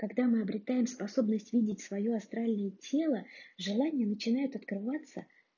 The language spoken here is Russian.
когда мы обретаем способность видеть свою астральное тело желания начинают открываться